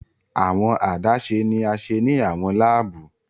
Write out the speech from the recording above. Awọn adaṣe ni a ṣe ni awọn laabu